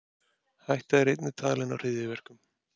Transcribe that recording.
Hætta er einnig talin á hryðjuverkum